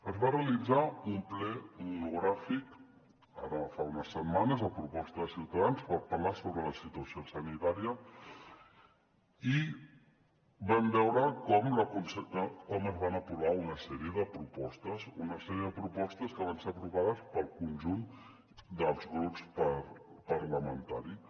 es va realitzar un ple monogràfic ara fa unes setmanes a proposta de ciutadans per parlar sobre la situació sanitària i vam veure com es van aprovar una sèrie de propostes una sèrie de propostes que van ser aprovades pel conjunt dels grups parlamentaris